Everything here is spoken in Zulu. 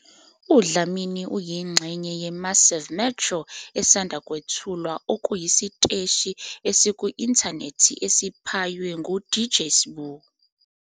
UDlamini uyingxenye yeMassiv Metro esanda kwethulwa, okuyisiteshi esiku-inthanethi esiphaywe nguDJ Sbu.